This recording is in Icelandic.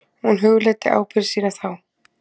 Hún hugleiddi ábyrgð sína þá.